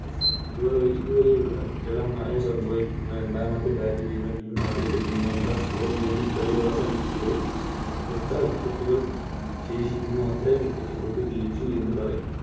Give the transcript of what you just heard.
ഇതുവരെയുള്ള വിരളമായി സംഭവിക്കുന്ന രണ്ടാമത്തെ Bat ചെയ്ത Team ആദ്യത്തെ Team നേക്കാൾ Score നേടി കളി അവസാനിക്കുമ്പോൾ എത്ര Wicket കൾ ശേഷിക്കുന്നു അത്രെയും Wicket കൾക്ക് ശേഷിക്കുന്നു എന്ന് പറയും